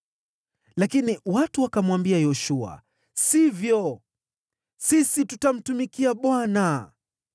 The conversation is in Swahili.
Lakini watu wakamwambia Yoshua, “Sivyo! Sisi tutamtumikia Bwana .”